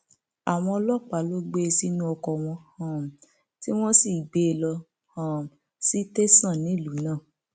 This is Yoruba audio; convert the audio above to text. àwọn ọlọpàá ló gbé e sínú ọkọ wọn um tí wọn sì gbé e lọ um sí tẹsán nílùú náà